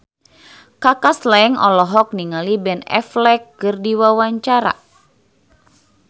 Kaka Slank olohok ningali Ben Affleck keur diwawancara